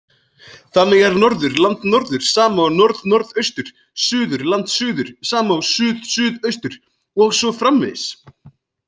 Þannig er norður-landnorður sama og norð-norðaustur, suður-landsuður sama og suð-suðaustur og svo framvegis.